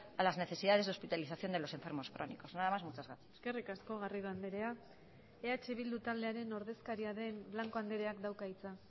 a las necesidades de hospitalización de los enfermos crónicos nada más muchas gracias eskerrik asko garrido andrea eh bildu taldearen ordezkaria den blanco andreak dauka hitza